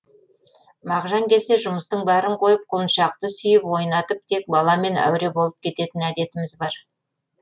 мағжан келсе жұмыстың бәрін қойып құлыншақты сүйіп ойнатып тек баламен әуре болып кететін әдетіміз бар